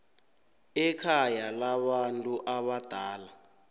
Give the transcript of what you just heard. ekhaya labantu abadala